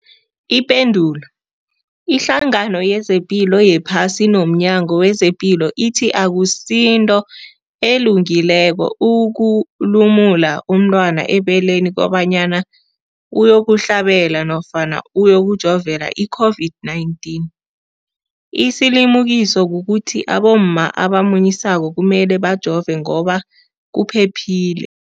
Ipendulo, iHlangano yezePilo yePhasi nomNyango wezePilo ithi akusinto elungileko ukulumula umntwana ebeleni kobanyana uyokuhlabela, uyokujovela i-COVID-19. Isilimukiso kukuthi abomma abamunyisako kumele bajove ngoba kuphephile.